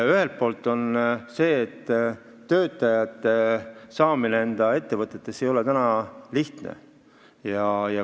Ühelt poolt ei ole töötajaid ettevõttesse täna lihtne saada.